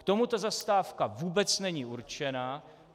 K tomu ta Zastávka vůbec není určená.